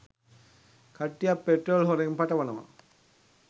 කට්ටියක් පෙට්‍රෝල් හොරෙන් පටවනවා